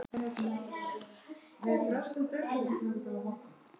Karla eða konur.